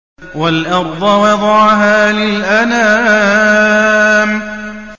وَالْأَرْضَ وَضَعَهَا لِلْأَنَامِ